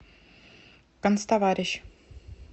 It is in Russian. канцтоварищ